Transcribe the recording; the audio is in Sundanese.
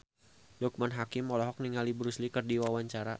Loekman Hakim olohok ningali Bruce Lee keur diwawancara